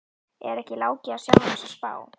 Er ekki Láki að sjá um þessa spá?